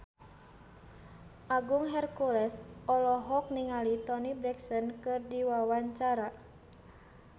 Agung Hercules olohok ningali Toni Brexton keur diwawancara